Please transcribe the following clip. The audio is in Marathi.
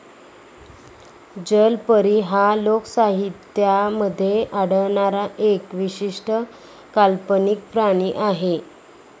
जलपरी हा लोकसाहित्यामध्ये आढळणारा एक विशिष्ट काल्पनिक प्राणी आहे.